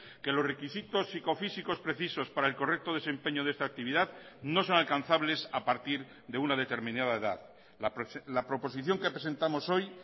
que los requisitos psicofísicos precisos para el correcto desempeño de esta actividad no son alcanzables a partir de una determinada edad la proposición que presentamos hoy